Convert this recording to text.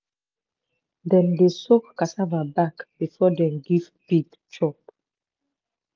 dem dey soak cassava back before dem give pig chop.